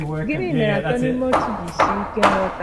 Gịnị mere Atọ n'Ime Otu ji sie ike nghọta?